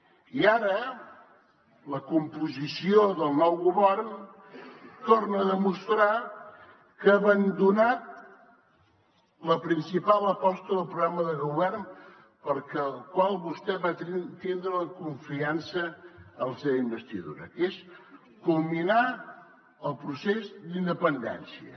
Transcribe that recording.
i ara la composició del nou govern torna a demostrar que ha abandonat la principal aposta del programa de govern pel qual vostè va tindre la confiança en la seva investidura que és culminar el procés d’independència